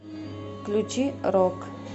включи рок